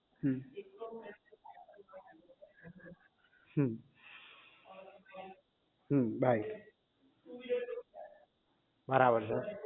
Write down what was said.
હમ હમ હમ બાય બરાબર છે